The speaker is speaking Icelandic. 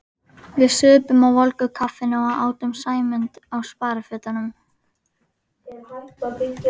Við supum á volgu kaffinu og átum Sæmund á sparifötunum.